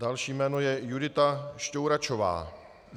Další jméno je Judita Štouračová.